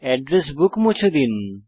address book মুছে দিন